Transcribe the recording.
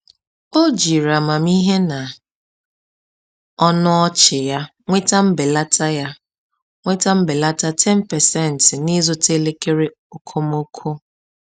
Ọ jiri amamihe na ọnụ ọchị ya nweta mbelata ya nweta mbelata 10% n’ịzụta elekere okomoko.